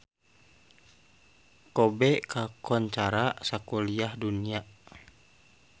Kobe kakoncara sakuliah dunya